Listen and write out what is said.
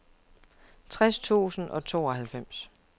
tres tusind og tooghalvfems